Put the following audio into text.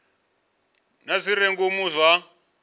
na zwi re ngomu zwa